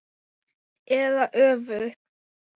Eða öfugt.